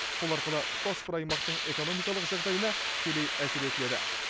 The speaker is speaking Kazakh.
сол арқылы тұтас бір аймақтың экономикалық жағдайына тікелей әсер етіледі